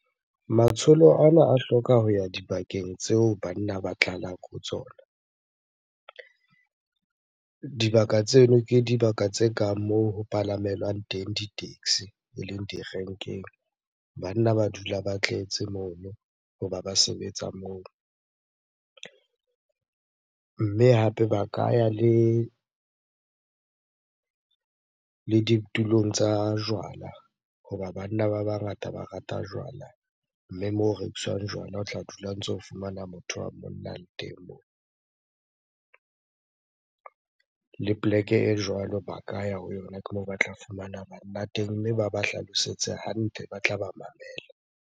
Matsholo ana a hloka ho ya dibakeng tseo banna ba tlalang ho tsona. Dibaka tseno ke dibaka tse kang moo ho palamelwang teng di-taxi, eleng di-rank-eng. Banna ba dula ba tletse mono hoba ba sebetsa moo. Mme hape ba ka ya le ditulong tsa jwala hoba banna ba bangata ba rata jwala. Mme moo ho rekiswang jwala, o tla dula o ntso fumana motho wa monna a le teng moo. Le poleke e jwalo ba ka ya ho yona ke moo ba tla fumana banna teng. Mme ba ba hlalosetse hantle, ba tla ba mamela.